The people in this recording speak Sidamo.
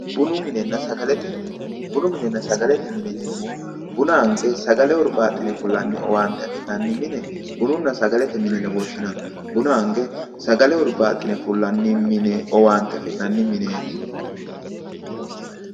Bunu minenna sagalete mine yineemmohu buna ange sagale owaaxime fullani owaante affi'nanni mime bununna sagalete mine yine woshshinanni ,buna ange sagale hurbaxine owaante affi'nanni mineti.